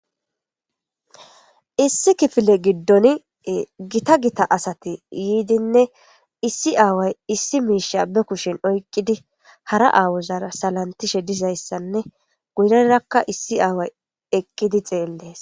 issi kifile giddoni gita gita asati yiidinne issi aaway issi miish abbe kushen oyqqidi hara aawozara salantishe dizayssanne guyrerakka issi aaway eqqidi xeellees